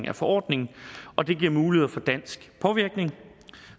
af forordningen og det giver muligheder for dansk påvirkning